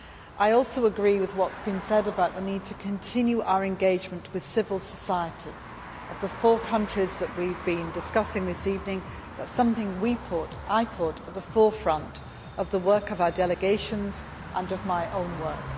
I also agree with what has been said about the need to continue our engagement with civil society in the four countries we have been discussing this evening. That is something that we put and that I put at the forefront of the work of our delegations and of my own work.